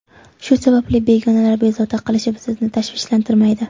Shu sababli, begonalar bezovta qilishi sizni tashvishlantirmaydi.